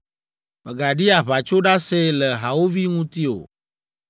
Mègaɖi aʋatsoɖase le hawòvi ŋuti o.